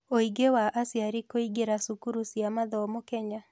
Ũingĩ wa aciari kũingĩra cukuru cia mathomo Kenya.